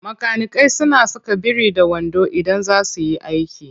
Makanikai suna saka biri-da-wando idan za su yi aiki.